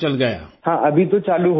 ہاں ابھی تو شروع ہو گیا ہے